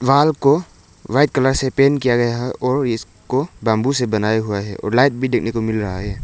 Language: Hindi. वॉल को व्हाइट कलर से पेंट किया गया है और इसको बंबू से बनाया गया है और रैक भी देखने को मिल रहा है।